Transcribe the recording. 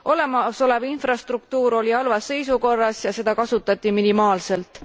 Olemasolev infrastruktuur oli halvas seisukorras ja seda kasutati minimaalselt.